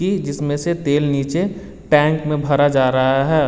इसमें से तेल नीचे टैंक में भरा जा रहा है।